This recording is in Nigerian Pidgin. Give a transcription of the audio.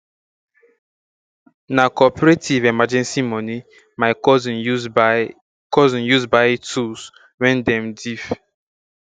na cooperative emergency moni my cousin use buy cousin use buy tools wen dem diif